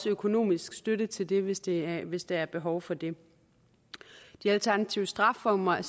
økonomisk støtte til det hvis det hvis der er behov for det de alternative strafformer er